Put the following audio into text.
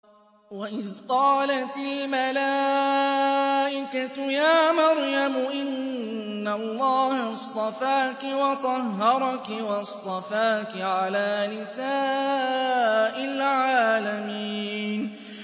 وَإِذْ قَالَتِ الْمَلَائِكَةُ يَا مَرْيَمُ إِنَّ اللَّهَ اصْطَفَاكِ وَطَهَّرَكِ وَاصْطَفَاكِ عَلَىٰ نِسَاءِ الْعَالَمِينَ